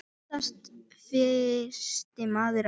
Oftast fyrsti maður að borga.